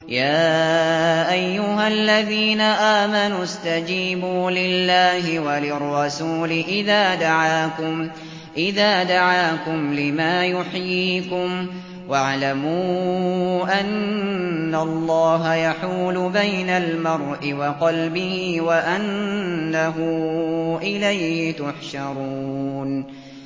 يَا أَيُّهَا الَّذِينَ آمَنُوا اسْتَجِيبُوا لِلَّهِ وَلِلرَّسُولِ إِذَا دَعَاكُمْ لِمَا يُحْيِيكُمْ ۖ وَاعْلَمُوا أَنَّ اللَّهَ يَحُولُ بَيْنَ الْمَرْءِ وَقَلْبِهِ وَأَنَّهُ إِلَيْهِ تُحْشَرُونَ